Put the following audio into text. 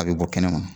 A bɛ bɔ kɛnɛma